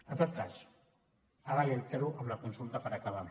en tot cas ara li ho altero amb la consulta per acabar